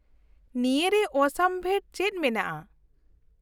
-ᱱᱤᱭᱟᱹ ᱨᱮ ᱚᱥᱟᱢᱵᱷᱮᱲ ᱪᱮᱫ ᱢᱮᱱᱟᱜᱼᱟ ?